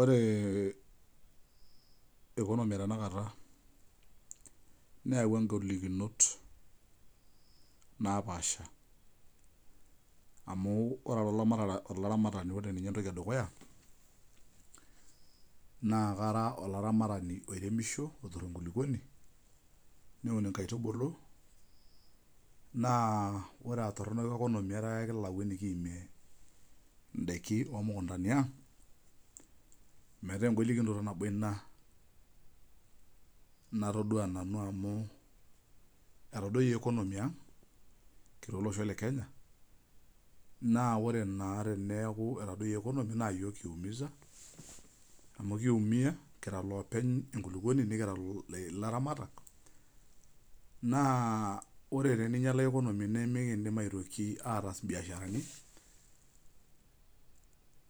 Ore ekonomi e tanakata neawua engolikinot napaasha, amu ore ilaramatak lopikita ate dukuya, naa kara olaramatani oremisho, neturr enkuluponi, neun enkaitubulu, naa ore etorno ekonomi etaa ekilau nikiyaasie, indaki oomukuntani aang',metaa engolikinoto anbo inia natodua nanu amuu etodoiye ekonomi aang' te losho le Kenya naa kore naa teneaku etodoiye ekonomi naa yook eumisa, amu kiumia kira loopeny enkuluponi nikiramitie laramatak, na ore teneinyala ekonomi nemeidim aitoki ataas mbiasharani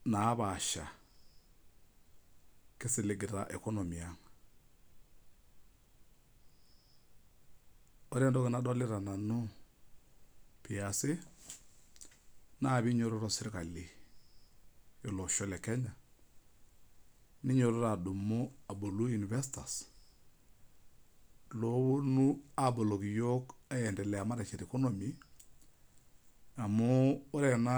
napaasha kisiligita ekonomi ang'. Ore ntoki nadolita nanu easi, naa kenyototo sirkali le losho le Kenya, nenyototo adumu abolu investors looponu aboloki yook, aendelea mateshet ekonomi amuu ore ena.